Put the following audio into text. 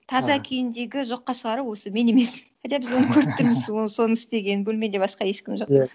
таза күйіндегі жоққа шығару осы мен емес хотя біз оны көріп тұрмыз ол соны істегенін бөлмеде басқа ешкім жоқ